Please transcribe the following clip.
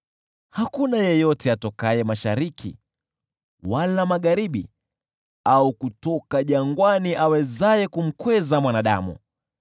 Hakuna yeyote atokaye mashariki wala magharibi au kutoka jangwani awezaye kumkweza mwanadamu.